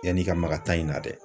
Yan'i ka maga taa in na dɛ